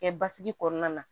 Kɛ basigi kɔnɔna na